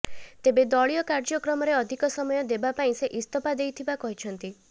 ତେବେ ଦଳୀୟ କାର୍ଯ୍ୟକ୍ରମରେ ଅଧିକ ସମୟ ଦେବା ପାଇଁ ସେ ଇସ୍ତଫା ଦେଇଥିବା କହିଛନ୍ତି